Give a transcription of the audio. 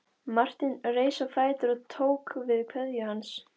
Marteinn reis á fætur og tók kveðju hans.